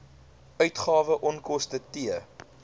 uitgawes onkoste t